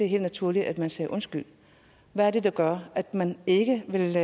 helt naturligt at man sagde undskyld hvad er det der gør at man ikke vil